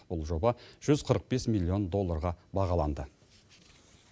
бұл жоба жүз қырық бес миллион долларға бағаланды